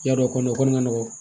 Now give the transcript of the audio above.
Yarɔ kɔni ka nɔgɔn